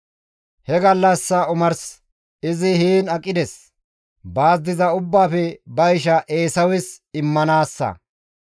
He gallassa omars izi heen aqiday baas diza ubbaafe ba isha Eesawes immanaassa.